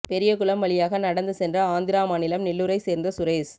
பெரியகுளம் வழியாக நடந்து சென்ற ஆந்திரா மாநிலம் நெல்லூரை சோ்ந்த சுரேஷ்